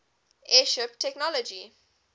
airship technology